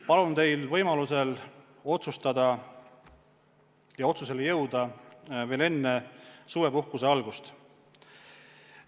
Palun teil võimalusel otsustada ja otsusele jõuda veel enne suvepuhkuse algust!